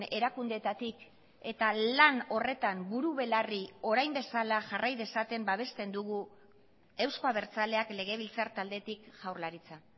erakundeetatik eta lan horretan buru belarri orain bezala jarrai dezaten babesten dugu euzko abertzaleak legebiltzar taldetik jaurlaritza